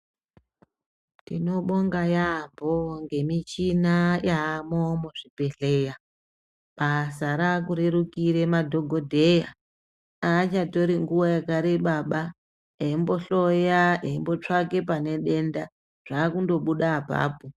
Tinobonga yaampho ngemichina yaamo muzvibhedhleya. Basa raakurerukire madhogodheya. Aachatori nguwa yakareba, eimbohloya, eimbotsvake pane denda, zvaakundobuda apapo.